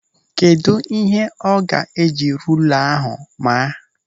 Kedụ ihe ọ ga-eji rula ahụ maa?